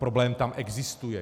Problém tam existuje.